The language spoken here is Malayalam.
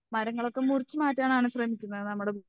മരങ്ങളൊക്കെ മുറിച്ചുമാറ്റാനാണ് ശ്രമിക്കുന്നത് നമ്മുടെ